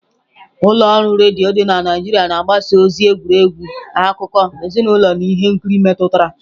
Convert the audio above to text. Ụlọ ọrụ redio dị na Naijiria na-agbasa ozi, egwuregwu, akụkọ, ezinụlọ na ihe nkiri metụtara.